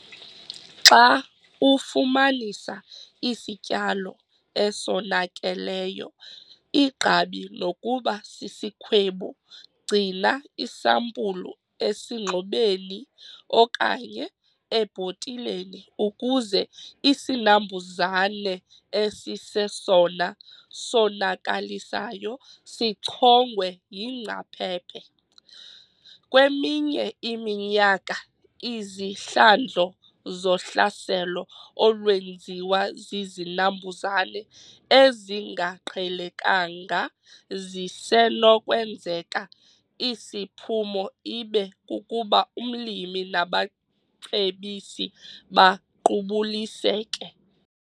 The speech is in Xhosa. Xa ufumanisa isityalo esonakeleyo, igqabi nokuba sisikhwebu, gcina isampulu esingxobeni okanye ebhotileni ukuze isinambuzane esisesona sonakalisayo sichongwe yingcaphephe. Kweminye iminyaka izihlandlo zohlaselo olwenziwa zizinambuzane ezingaqhelekanga zisenokwenzeka isiphumo ibe kukuba umlimi nabacebisi baqubuliseke.